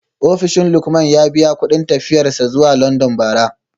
Ofishin Lukman ya biya kudin tafiyar sa zuwa london bara